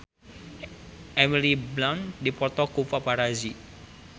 Emily Blunt dipoto ku paparazi